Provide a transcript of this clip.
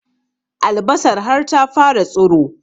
Albasar har ta fara tsiro